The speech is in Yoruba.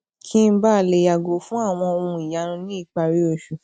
kí n bàa lè yàgò fún àwọn ohun ìyanu ní ìparí oṣù